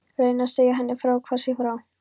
Reyni að segja henni hvað það sé frá